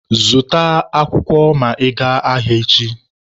Zụta pepa ma ị gaa ahịa echi!